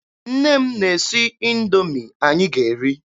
Nne m na-esi Indoomi anyị ga eri.